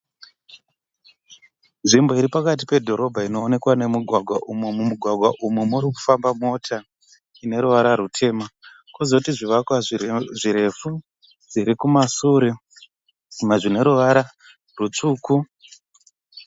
Nzvimbo iripakati pedhorobha inoonekwa nemugwagwa umo mumugwagwa umu murikufamba mota ine ruvara rutema kwozoti zvivakwa zvirefu zvirikumashure zvimwe zvine ruvara rutsvuku.